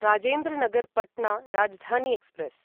Rajendra Nagar Patna Rajdhani express